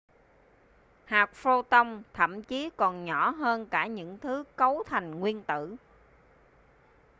hạt pho-ton thậm chí còn nhỏ hơn cả những thứ cấu thành nguyên tử